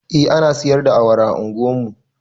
Eh ana siyar da awara a unguwar mu